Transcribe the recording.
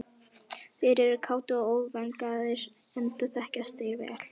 Þeir eru kátir og óþvingaðir enda þekkjast þeir vel.